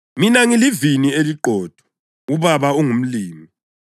“Mina ngilivini eliqotho, uBaba ungumlimi.